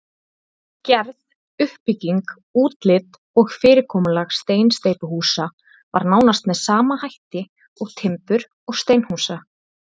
Gerð, uppbygging, útlit og fyrirkomulag steinsteypuhúsa var nánast með sama hætt og timbur- og steinhúsa.